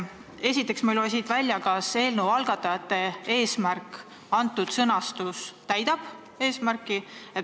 Esiteks ei loe ma siit välja, kas antud sõnastus täidab eelnõu algatajate eesmärki.